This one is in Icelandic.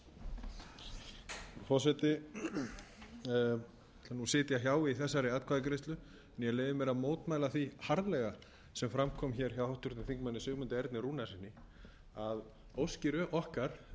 í þessari atkvæðagreiðslu ég leyfi mér að mótmæla því harðlega sem fram kom hjá háttvirtum þingmanni sigmundi erni rúnarssyni að óskir okkar þingmanna um að fá upplýsingar um það hvernig þingfundum verður háttað